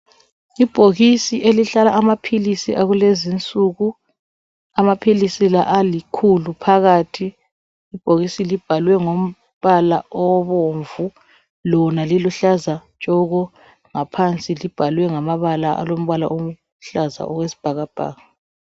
Ibhokisi elihlala amaphilisi akulezinsuku amaphilisi la alikhulu phakathi. Ibhokisi libhalwe ngombala obomvu lona liluhlaza tshoko ngaphansi libhalwe ngamabala alombala oluhlaza okwesibhakabhaka.